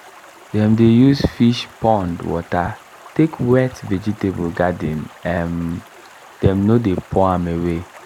dem dey use fish pond water take wet vegetable garden um dem no dey pour am away.